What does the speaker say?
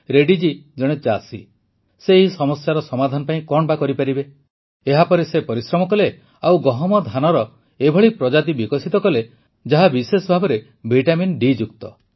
ରେଡ୍ଡୀ ଜୀ ଜଣେ ଚାଷୀ ସେ ଏହି ସମସ୍ୟାର ସମାଧାନ ପାଇଁ କଣ କରିପାରିବେ ଏହାପରେ ସେ ପରିଶ୍ରମ କଲେ ଓ ଗହମ ଧାନର ଏପରି ପ୍ରଜାତି ବିକଶିତ କଲେ ଯାହା ବିଶେଷଭାବେ ଭିଟାମନ୍ ଡିଯୁକ୍ତ